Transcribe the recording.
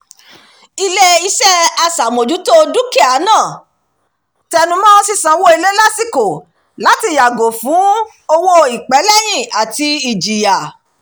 ilé-iṣẹ́ aṣàmójútó o dúkìá náà tẹnumọ́ sísanwó ilé lásìkò láti yàgò fún owó ìpẹ́lẹ́yìn àti ìjìyà